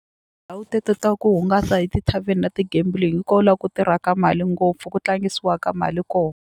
Ndhawu teto ta ku hungasa hi ti-tarven na ti-gambling hi ko la ku tirhaka mali ngopfu ku tlangisiwaka mali ko.